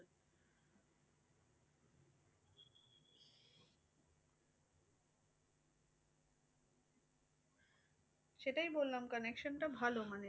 সেটাই বললাম connection টা ভালো মানে